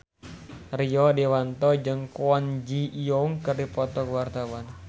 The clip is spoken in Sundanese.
Rio Dewanto jeung Kwon Ji Yong keur dipoto ku wartawan